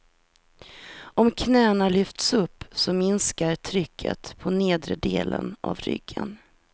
Om knäna lyfts upp så minskar trycket på nedre delen av ryggen.